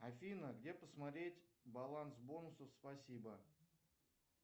афина где посмотреть баланс бонусов спасибо